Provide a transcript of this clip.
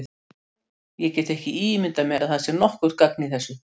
Ég get ekki ímyndað mér að það sé nokkurt gagn í þessu.